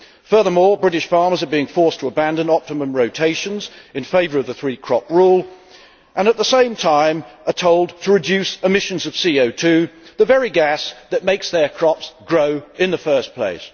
Furthermore, British farmers are being forced to abandon optimum rotations in favour of the 3 crop rule, and, at the same time, they are told to reduce omissions of CO2 the very gas that makes their crops grow in the first place.